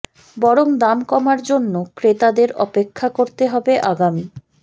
বরং দাম কমার জন্য ক্রেতাদের অপেক্ষা করতে হবে আগামী